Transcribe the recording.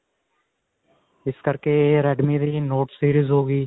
ਇਸ ਕਰਕੇ redme ਦੀ note-series ਹੋ ਗਈ.